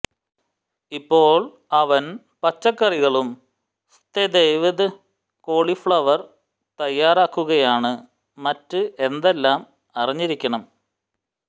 ഇപ്പോൾ അവൻ പച്ചക്കറികളും സ്തെവെദ് കോളിഫ്ളവർ തയ്യാറാക്കുകയാണ് മറ്റ് എന്തെല്ലാം അറിഞ്ഞിരിക്കണം